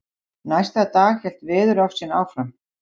Næsta dag hélt veðurofsinn áfram.